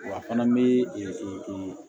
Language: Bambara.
Wa a fana bɛ